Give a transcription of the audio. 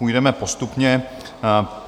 Půjdeme postupně.